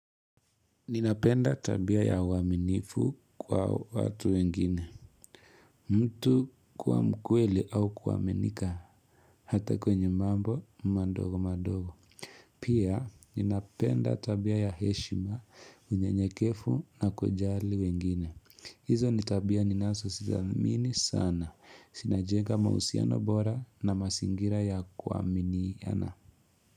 Ninapenda tabia ya uaminifu kwa watu wengine. Mtu kuwa mkweli au kuaminika. Hata kwenye mambo, madogo madogo. Pia, ninapenda tabia ya heshima, unye nyekefu na kujali wengine. Hizo nitabia ni nazo sithamini sana. Zinajenga mahusiano bora na masingira ya kuaminiana.